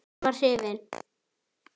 Hún var hrifin.